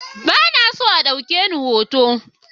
Ba na son a ɗauke ni hoto.